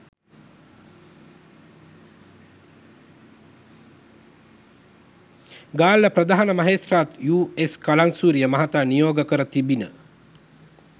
ගාල්ල ප්‍රධාන මහේත්‍රාත් යූ.එස් කලංසූරිය මහතා නියෝග කර තිබිණ